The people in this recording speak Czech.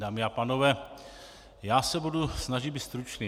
Dámy a pánové, já se budu snažit být stručný.